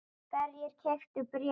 Hverjir keyptu bréfin?